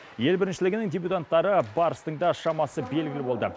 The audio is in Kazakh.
ел біріншілігінің дебютанттары барстың да шамасы белгілі болды